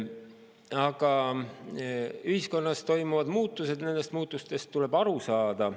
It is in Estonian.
Aga ühiskonnas toimuvatest muutustest tuleb aru saada.